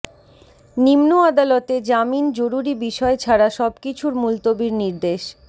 নিম্ন আদালতে জামিন জরুরি বিষয় ছাড়া সবকিছু মুলতবির নির্দেশ